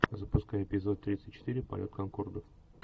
запускай эпизод тридцать четыре полет конкордов